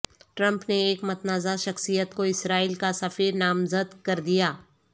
Trump نے ایک متنازع شخصیت کو اسرائیل کا سفیر نامزد کر دیا